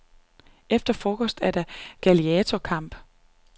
Efter frokost er der gladiatorkamp.